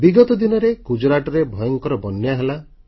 ବିଗତ ଦିନରେ ଗୁଜରାଟରେ ଭୟଙ୍କର ବନ୍ୟା ହେଲା